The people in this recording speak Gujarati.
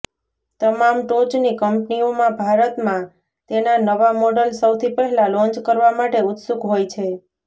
તમામ ટોચની કંપનીઓમાં ભારતમાં તેના નવા મોડલ સૌથી પહેલા લોન્ચ કરવા માટે ઉત્સુક હોય છે